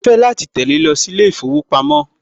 Á á fẹ́ láti tẹ̀le lọ sí ilé ìfowópamọ́